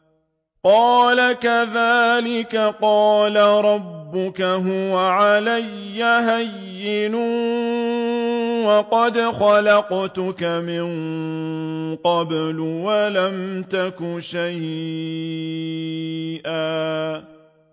قَالَ كَذَٰلِكَ قَالَ رَبُّكَ هُوَ عَلَيَّ هَيِّنٌ وَقَدْ خَلَقْتُكَ مِن قَبْلُ وَلَمْ تَكُ شَيْئًا